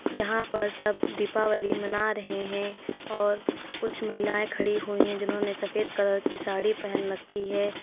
यहां पर सब दीपावली मना रहे हैं और कुछ महिलाएं खड़ी हुई है जिन्होंने सफेद कलर की साड़ी पहन रखी है।